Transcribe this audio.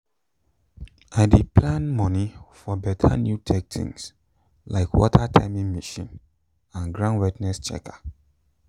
i dey plan money for better new tech things like water timing machine and ground wetness checker